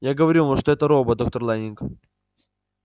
я говорю вам что это робот доктор лэннинг